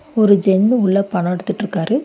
ஒரு ஜென் உள்ள பணோ எடுத்துட்டுருக்காரு.